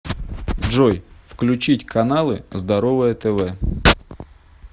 джой включить каналы здоровое тв